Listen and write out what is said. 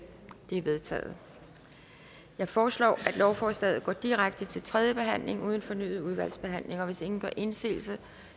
er vedtaget jeg foreslår at lovforslaget går direkte til tredje behandling uden fornyet udvalgsbehandling og hvis ingen gør indsigelse